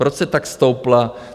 Proč se tak stoupla?